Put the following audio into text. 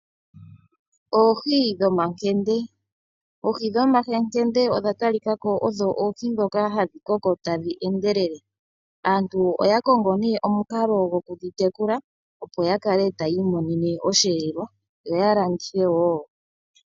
Oohi dhomakende, Oohi dhomakende odha talikako odho Oohi dhoka hadhi koko tadhi endelele. Aant oya kongo omukalo go kudhi tekula opo ya kale taya imonene osheelelwa yo ya landithe wo.